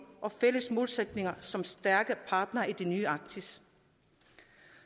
og fælles målsætninger som stærke partnere i det nye arktis